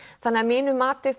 þannig að mínu mati